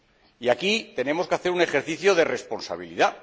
Y aquí tenemos que hacer un ejercicio de responsabilidad.